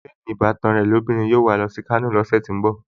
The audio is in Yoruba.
Bẹ́ẹ̀ni, ìbátan ẹ́ lóbìnrin yóò wà á lọ sí Kano lọ́sẹ̀ tó ń bọ̀